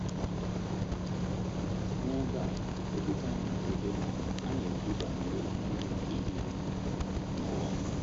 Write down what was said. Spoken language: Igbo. N’ebe a, Okwute anọghị ebe ma ana-ekwu banyere mbibi nke eluigwe na ụwa.